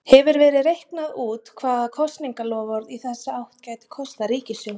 Hefur verið reiknað út hvað kosningaloforð í þessa átt gæti kostað ríkissjóð?